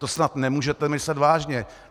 To snad nemůžete myslet vážně?